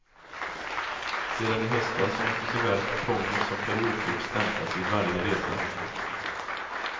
Sedan i höstas måste såväl kuponger som periodkort stämplas vid varje resa.